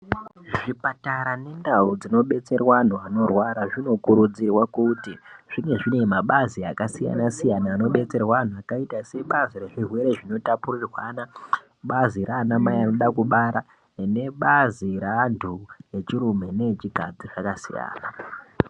Zvipatara nendau dzinobetsirwa antu anorwara zvinokurudzirwa kuti zvinge zviine mabazi akasiyana-siyana rinodetsserwe antu rakaita sebazi rezvirwere zvinotapurirwana, bazi raanamai anoda kubara, nebazi reantu echirume neechikadzi zvakasiyana.